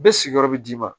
Bɛɛ sigiyɔrɔ bɛ d'i ma